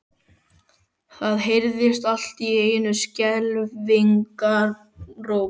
Það heyrðist allt í einu skelfingaróp.